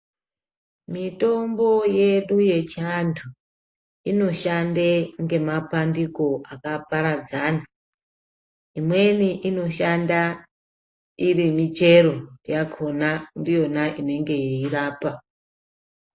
Mitombo yedu yechiandu inoshande ngemapandiko akaparadzana imweni inoshanda iri michero yakona ndiyona inenge yeyirapa.